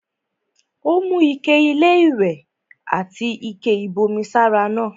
Ó mú ike-iléwẹ̀ àti ike-ìbomi sára náà.